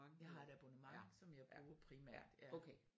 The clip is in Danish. Jeg har et abonnement som jeg bruger primært ja